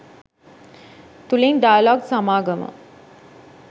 තුලින් ඩයලොග් සමාගම